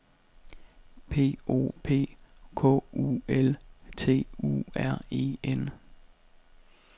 P O P K U L T U R E N